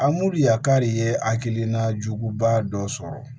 A mori yakari ye hakilina juguba dɔ sɔrɔ